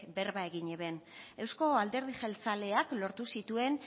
berba egin eban euzko alderdi jeltzaleak lortu zituen